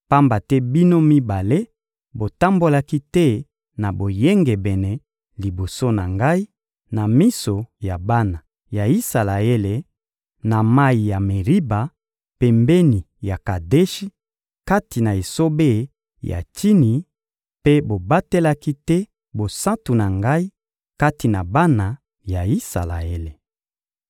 pamba te bino mibale botambolaki te na boyengebene liboso na Ngai, na miso ya bana ya Isalaele, na mayi ya Meriba, pembeni ya Kadeshi, kati na esobe ya Tsini, mpe bobatelaki te bosantu na Ngai kati na bana ya Isalaele.